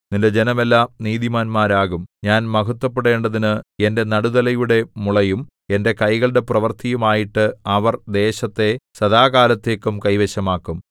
നിന്റെ ജനമെല്ലാം നീതിമാന്മാരാകും ഞാൻ മഹത്ത്വപ്പെടേണ്ടതിനു എന്റെ നടുതലയുടെ മുളയും എന്റെ കൈകളുടെ പ്രവൃത്തിയും ആയിട്ട് അവർ ദേശത്തെ സദാകാലത്തേക്കും കൈവശമാക്കും